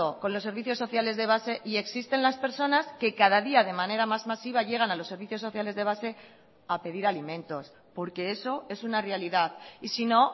con los servicios sociales de base y existen las personas que cada día de manera más masiva llegan a los servicios sociales de base a pedir alimentos porque eso es una realidad y si no